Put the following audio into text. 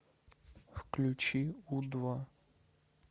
включи у два